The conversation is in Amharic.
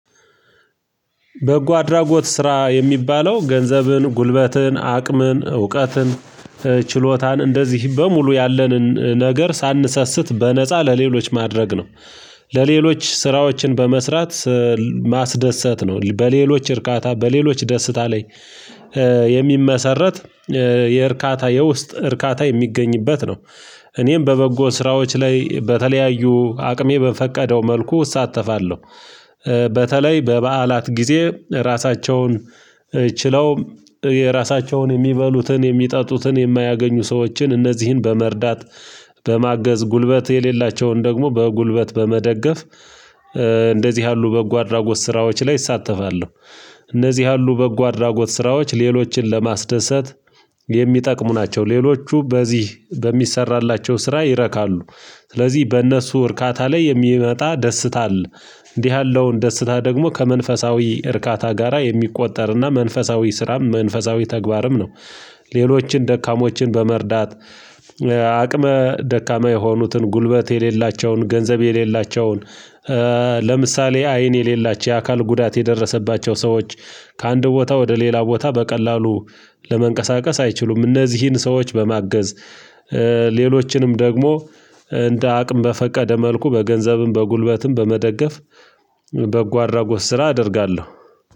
በጎ አድራጎት ስራ የሚባለው፥ ገንዘብን፣ ጉልበትን፣ አቅምን፣ እውቀትን፣ ችሎታን፣ እንደዚህ በሙሉ ያለንን ነገር ሳንሰስት በነፃ ለሌሎች ማድረግ ነው። ለሌሎች ስራዎችን በመስራት ማስደሰት ነው። በሌሎች እርካታ በሌሎች ደስታ ላይ የሚመሰረት የእርካታ የውስጥ እርካታ የሚገኝበት ነው። እኔም በበጎ ስራዎች ላይ በተለያዩ አቅሜ በፈቀደው መልኩ እሳተፋለሁ በተለይ በበዓላት ጊዜ ራሳቸውን ችለው የራሳቸውን የሚበሉትን የሚጠጡትን የማያገኙ ሰዎችን እነዚህን በመርዳት በማገዝ፥ ጉልበት የሌላቸውን ደግሞ በጉልበት በመደገፍ እንደዚህ ያሉ በጎ አድራጎት ስራዎች ላይ እሳተፋለሁ። እነዚህ ያሉ በጎ አድራጎት ስራዎች ሌሎችን ለማስደሰት የሚጠቅሙ ናቸው። ሌሎቹ በዚህ በሚሰራላቸው ስራ ይረካሉ። ስለዚህ በእነሱ እርካታ ላይ የሚመጣ ደስታ አለ። እንዲህ ያለውን ደስታ ደግሞ ከመንፈሳዊ እርካታ ጋራ የሚቆጠርና መንፈሳዊ ስራም መንፈሳዊ ተግባርም ነው። ሌሎችን ደካሞችን በመርዳት፣ አቅመ ደካማ የሆኑትን፣ ጉልበት የሌላቸውን ገንዘብ የሌላቸውን፣ ለምሳሌ አይን የሌላቸው፣ የአካል ጉዳት የደረሰባቸው ሰዎች ከአንድ ቦታ ወደ ሌላ ቦታ በቀላሉ ለመንቀሳቀስ አይችሉም። እነዚህን ሰዎች በማገዝ፥ ሌሎችንም ደግሞ እንደ አቅም በፈቀደ መልኩ በገንዘብም በጉልበትም በመደገፍ በጎ አድራጎት ስራ አደርጋለሁ።